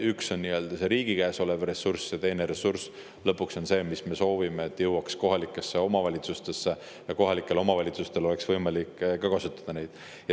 Üks osa on riigi käes olev ressurss ja teine ressurss on see, mis meie soovi kohaselt peab jõudma kohalikesse omavalitsustesse, et kohalikel omavalitsustel oleks võimalik seda kasutada.